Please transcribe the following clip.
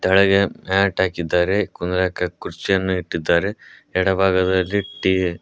ಕೆಳಗೆ ಮ್ಯಾಟ್ ಹಾಕಿದ್ದಾರೆ ಕುಂದ್ರಕ ಕುರ್ಚಿಯನ್ನು ಇಟ್ಟಿದ್ದಾರೆ ಎಡಭಾಗದಲ್ಲಿ ಟಿ--